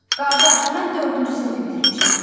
Qardaş, mən dördüncü sinifi bitirmişəm.